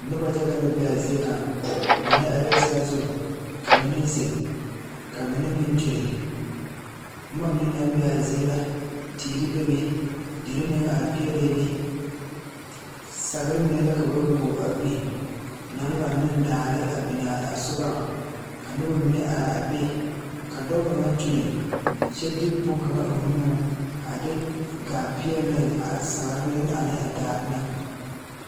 Nobɔ yaga la be aa zie ŋa mine areɛɛ saazu ka mine zeŋ ka mine meŋ kyure bomma mine naŋ be aa zie la teere bebe derre meŋ are peɛɛlɛɛ be sagre mine la ka ba wuo a biŋ naŋ laŋe daare a biŋaa sugɔŋ ka nobɔ mine are a be ka dɔɔ kaŋa kyure kyɛ de bonkaŋa eŋ o nuŋ a de gaa peɛɛli ne a sagre ane a daare na.